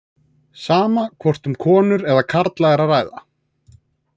Sama hvort um konur eða karla er að ræða.